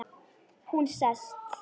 Hún sest.